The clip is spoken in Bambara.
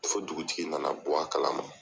Fo dugutigi nana bɔ a kala ma.